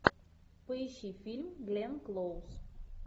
поищи фильм гленн клоуз